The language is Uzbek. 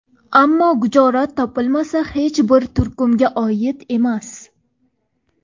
Ammo Gujorat topilmasi hech bir turkumga oid emas.